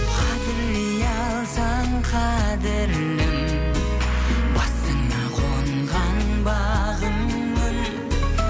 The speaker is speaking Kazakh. қадірлей алсаң қадірлім басыңа қонған бағыңмын